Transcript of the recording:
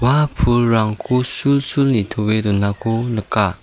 ua pulrangko sulsul nitoe donako nika.